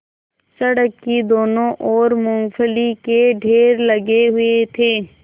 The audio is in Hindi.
सड़क की दोनों ओर मूँगफली के ढेर लगे हुए थे